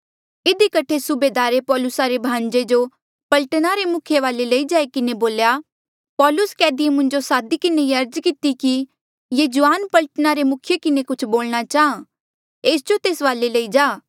इधी कठे सुबेदारे पौलुसा रे भाणजे जो पलटना रे मुखिये वाले लई जाई किन्हें बोल्या पौलुस कैदी ऐें मुंजो सादी किन्हें ये अर्ज किती कि ये जुआन पलटना रे मुखिया किन्हें कुछ बोलणा चाहां एस जो तेस वाले लई जा